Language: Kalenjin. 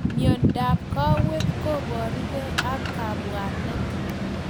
Miondap kawek koparu kei ak kapwanet